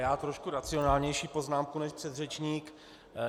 Já trošku racionálnější poznámku než předřečník.